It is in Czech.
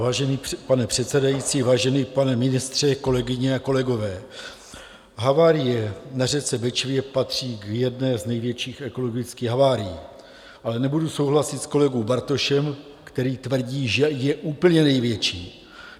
Vážený pane předsedající, vážený pane ministře, kolegyně a kolegové, havárie na řece Bečvě patří k jedné z největších ekologických havárií, ale nebudu souhlasit s kolegou Bartošem, který tvrdí, že je úplně největší.